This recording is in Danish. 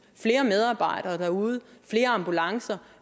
flere medarbejdere derude flere ambulancer